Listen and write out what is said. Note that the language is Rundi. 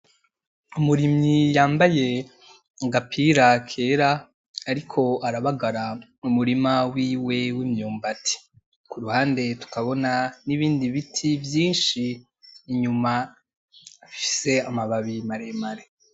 Umurimyi yambaye agapira kera ariko arabagara mumurima wiwe wimyumbati kuruhande tukabona n’ibindi biti vyinshi inyuma bifise amababi maremare.